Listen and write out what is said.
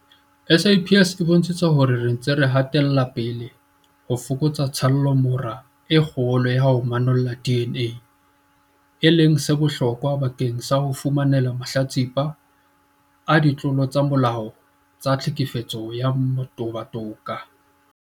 SAPS e bontshitse hore re ntse re hatela pele ho fokotsa tshallomora e kgolo ya ho manolla DNA, e leng se bohlokwa bakeng sa ho fumanela mahlatsipa a ditlolo tsa molao tsa tlhekefetso ya motabo toka.